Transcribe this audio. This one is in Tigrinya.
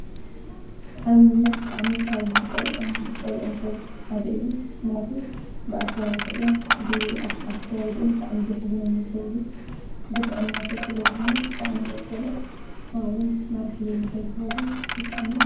አብይ ብጣዕሚ ካብ ዝፀልኦን ዝፀልኦን ሰብ ሓደ እዩ ። ምክንያቱ ብአሰራርሕኡን ብአካይድኡን ብጣዓሚ ዘሕዝነኒ ሰብ እዩ። ግፍዐኛ ሰብ ስለዝኮነ ብጣዕሚ እየ ዝፀልኦ። ከምኡ እውን መራሕየይ ንከይኸውን ብጣዕሚ እየ...